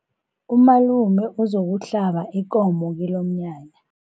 Umalume uzokuhlaba ikomo kilomnyanya.